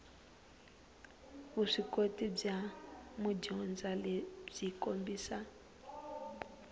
vuswikoti bya madyondza byi kombisa